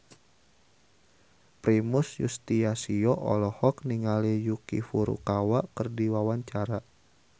Primus Yustisio olohok ningali Yuki Furukawa keur diwawancara